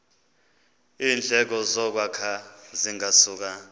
iindleko zokwakha zingasuka